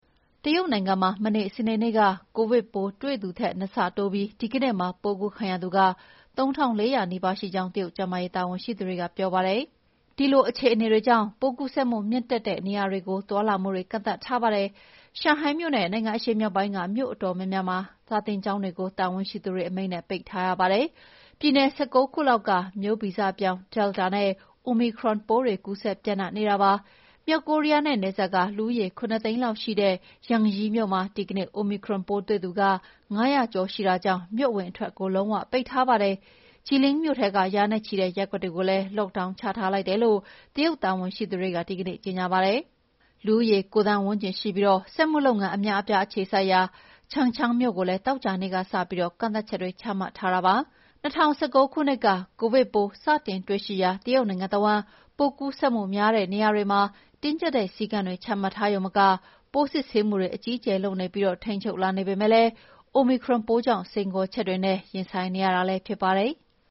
တရုတ်နိုင်ငံမှာ မနေ့ စနေနေ့က ကိုဗစ်ပိုးတွေ့သူထက် နှစ်ဆတိုးပြီး ဒီကနေ့မှာ ပိုးကူးခံရသူ ၃,၄၀၀ နီးပါးရှိကြောင်း တရုတ်ကျန်းမာရေး တာဝန်ရှိသူတွေက ပြောပါတယ်။ ဒီအခြေအနေကြောင့် ပိုးကူးစက်မှုမြင့်တက်တဲ့ နေရာတွေကို သွားလာမှုတွေ ကန့်သတ်ထားပါတယ်။ ရှန်ဟိုင်းမြို့နဲ့ နိုင်ငံအရှေ့မြောက်ပိုင်းက မြို့အတော်များများက စာသင်ကျောင်းတွေကို တာဝန်ရှိသူတွေအမိန့်နဲ့ ပိတ်ထားရပါတယ်။ ပြည်နယ် ၁၉ ခုလောက်မှာ မျိုးဗီဇပြောင်း Delta နဲ့ Omicron ပိုးတွေ ကူးစက်ပျံ့နှံ့နေတာပါ။ မြောက်ကိုရီးယားနဲ့နယ်စပ်က လူဦးရေ ၇ သိန်းလောက်ရှိတဲ့ Yanji မြို့မှာ ဒီကနေ့ Omicron ပိုးတွေ့သူ ၅၀၀ ကျော် ရှိတဲ့အတွက် မြို့အဝင်အထွက် လုံးဝပိတ်ထားပါတယ်။ Jilin မြို့ထဲက ရာနဲ့ချီတဲ့ ရပ်ကွက်တွေကိုလည်း Lockdown ချထားလိုက်တယ်လို့ တရုတ်တာဝန်ရှိသူတွေ ဒီကနေ့ ကြေညာပါတယ်။ လူဦးရေ ၉ သန်းဝန်းကျင်ရှိပြီး စက်မှုလုပ်ငန်း အများအပြား အခြေစိုက်ရာ Changchun မြို့ကိုလည်း သောကြာနေ့ကစပြီး ကန့်သတ်ချက်တွေ ချမှတ်ထားတာပါ။ ၂၀၁၉ ခုနှစ် ကိုဗစ်ပိုး စတင်တွေ့ရှိရာ တရုတ်နိုင်ငံတဝန်း ပိုးကူးစက်မှုများတဲ့ နေရာတွေမှာ တင်းကျပ်တဲ့ စည်းကမ်းတွေ ချမှတ်ရုံမက ပိုးစစ်ဆေးမှု အကြီးအကျယ်လုပ်ပြီး ထိန်းချုပ်လာပေမယ့် Omicron ပိုးကြောင့် စိန်ခေါ်ချက်တွေနဲ့ ရင်ဆိုင်နေရတာ ဖြစ်ပါတယ်။